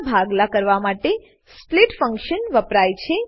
ના ભાગલા કરવા માટે સ્પ્લિટ ફંકશન વપરાય છે